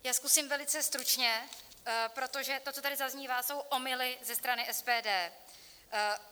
Já zkusím velice stručně, protože to, co tady zaznívá, jsou omyly ze strany SPD.